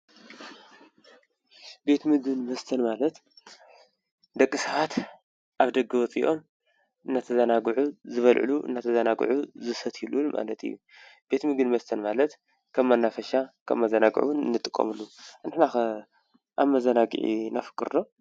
ቤት ምግብን መስተን ማለት ደቂ ሰባት አብ ደገ ወፂኦም እናተዘናግዑ ዝበልዕሉ እናተዘናግዑ ዝሰትዩሉን ማለት እዪ። ቤት ምግብን መስተን ማለት ከም መናፈሻ መዘናግዒ ንጥቀመሉ እዪ ነሕናኸ መዘናግዒ ነፍቅር ዶ?